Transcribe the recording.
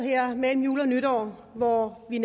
mellem jul og nytår hvor vi